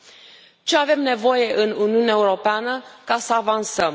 De ce avem nevoie în Uniunea Europeană ca să avansăm?